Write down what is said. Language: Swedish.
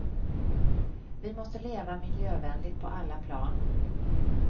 Vi måste leva miljövänligt på alla plan.